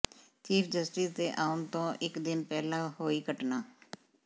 chief justice ਦੇ ਆਉਣ ਤੋਂ ਇਕ ਦਿਨ ਪਹਿਲਾਂ ਹੋਈ ਘਟਨਾ